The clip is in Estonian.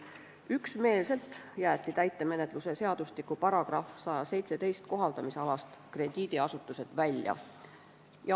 Üksmeelselt jäeti krediidiasutused täitemenetluse seadustiku § 117 kohaldamisalast välja.